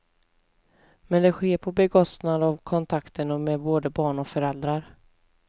Men det sker på bekostnad av kontakten med både barn och föräldrar.